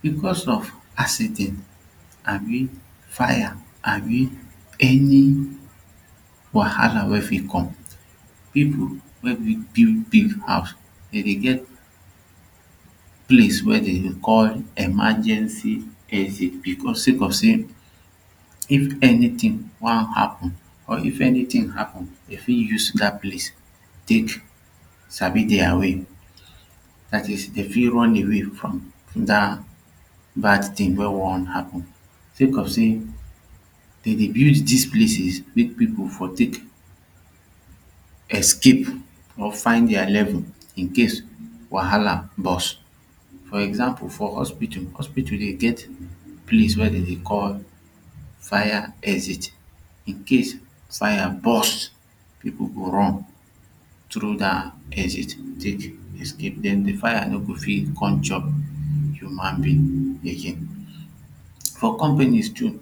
Because of accident abi fire abi any wahala wey fit come people wey build big house dem dey get place wey dem call emergency exits because say cause say if anything wan happen or if anytin happen dey fit use that place tek sabi dia way that is dey fit run away from that bad thing wey wan happen say coz say dem dey build this places mek people for tek escape or find dia level in case wahala burst for example for hospital, hospital dey get place wey dem dey call fire exit in case fire burst people go run trough that exit tek escape den the fire go fit come chop human being again for companies too dem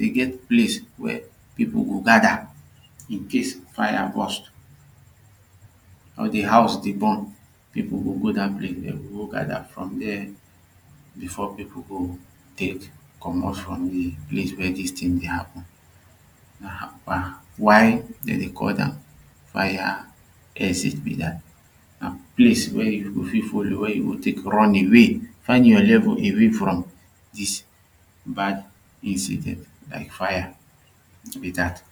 dey get place wey people go gada in case fire burst or de house dey burn people go go dat place dem go go gada for deh before people go tek comot for the place wey dis ting dey happen. Why dem dey call am fire exit be that na place wey you go fit follow wey you go take run away find your level away from this bad incident like fire be that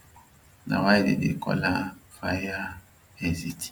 na why dem dey call am fire exit.